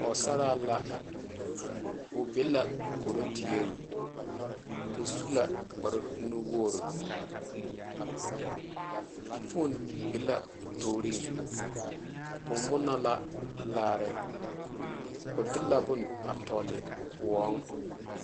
Pɔgesare la kɔro die o su la kpaare nuu wogeri fone be la o tooreŋ o morelalaare o de la bone a tɔle kõɔ.